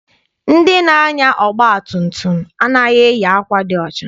Ndị na-anya ọgba tum tum a naghị eyi akwa dị ọcha.